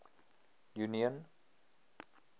union